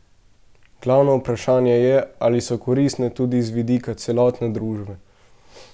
Glavno vprašanje je, ali so koristne tudi z vidika celotne družbe.